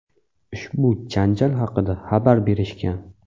ushbu janjal haqida xabar berishgan.